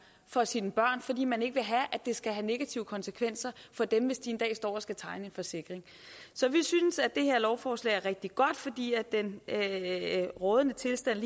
for sine børn fordi man ikke vil have at det skal have negative konsekvenser for dem hvis de en dag står og skal tegne en forsikring så vi synes at det her lovforslag er rigtig godt fordi den rådende tilstand